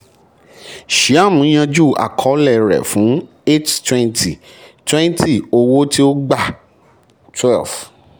shyam yanjú àkọọ́lẹ̀ rẹ̀ fún eight twenty twenty owó tí ó gbà twelve.